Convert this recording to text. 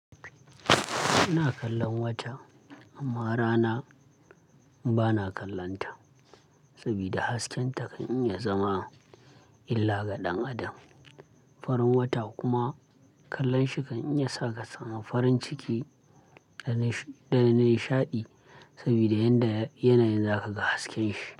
Ina kallon wata amma rana bana kallonta saboda hasken ta kan iya zama illa ga ɗan adam. Farin wata kuma kallon shi kan iya sa ka samu farin ciki ka nish----. Da nishaɗi sabida yanda yanayin za ka ga hasken shi.